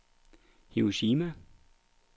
Hiroshima